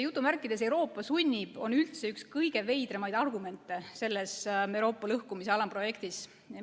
Väljend "Euroopa sunnib" on üldse üks kõige veidraid argumente selles Euroopa lõhkumise alamprojektis.